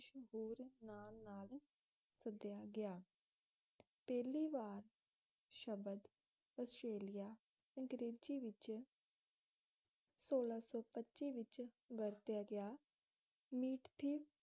ਸੱਦਿਆ ਗਿਆ ਪਹਿਲੀ ਵਾਰੀ ਸ਼ਬਦ ਆਸਟ੍ਰੇਲੀਆ ਅੰਗਰੇਜ਼ੀ ਵਿੱਚ ਸੋਲਹਾ ਸੌ ਪੱਚੀ ਵਿੱਚ ਵਰਤਿਆ ਗਿਆ ਮੀਟਥੀਵ